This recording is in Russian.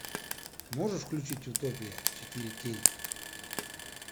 можешь включить утопия четыре кей